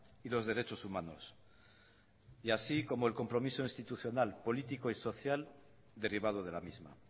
y los derechos humanos y así como el compromiso institucional político y social derivado de la misma